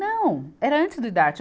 Não, era antes do idarte.